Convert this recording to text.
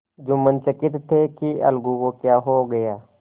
जुम्मन चकित थे कि अलगू को क्या हो गया